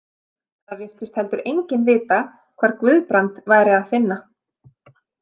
Það virtist heldur enginn vita hvar Guðbrand væri að finna.